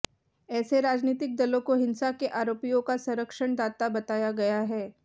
ऐसे राजनीतिक दलों को हिंसा के आरोपियों का संरक्षणदाता बताया गया है